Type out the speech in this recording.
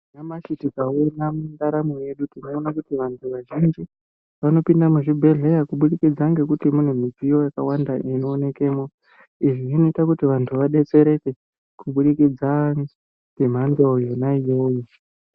Nyamashi tikaona muntaramo yedu tinoona kuti vanthu vazhinji vanopinda muzvibhedhlera kubudikidza ngekuti mune midziyo yakawanda inoonkemo. Izvi zvinoita kuti vantu vadetsereke kubudikidza ngemhando yona iyoyo.